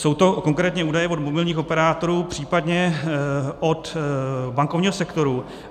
Jsou to konkrétně údaje od mobilních operátorů, případně od bankovního sektoru.